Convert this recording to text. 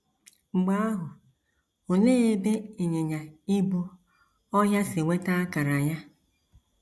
Mgbe ahụ, olee ebe ịnyịnya ibu ọhịa si nweta akara ya?